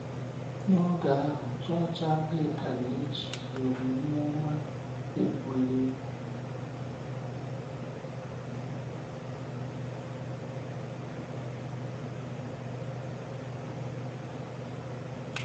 N’oge ahụ, Chọọchị Anglịkan ejighị omume ọma egwúrị egwú.